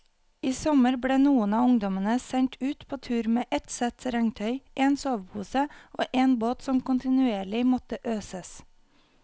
I sommer ble noen av ungdommene sendt ut på tur med ett sett regntøy, en sovepose og en båt som kontinuerlig måtte øses.